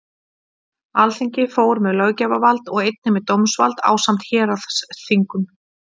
Alþingi fór með löggjafarvald og einnig með dómsvald ásamt héraðsþingum.